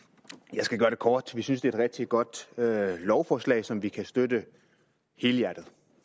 jeg skal gøre det kort vi synes det er et rigtig godt lovforslag som vi kan støtte helhjertet